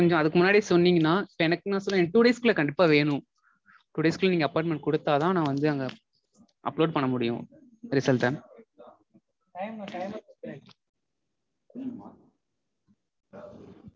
கொஞ்சம் அதுக்கு முன்னாடி சொன்னீங்கனா எனக்கு two days க்குள்ள கண்டிப்பா வேணும். two days க்குள்ள நீங்க appointment கொடுத்தாதா நா வந்து அங்க upload பண்ணா முடியும் result அ